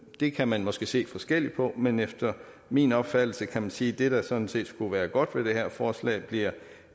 det kan man måske se forskelligt på men efter min opfattelse kan man sige at det der sådan set skulle være godt ved det her forslag